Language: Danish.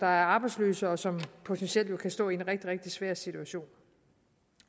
arbejdsløse og som jo potentielt kan stå i en rigtig rigtig svær situation